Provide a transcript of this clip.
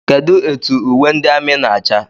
Kedụ etụ uwe ndị amị na-acha?